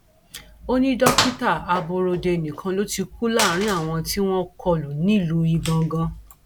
ó ní dókítà aborode nìkan ló ti kú láàrin àwọn tí wọn kọlù nílùú igangan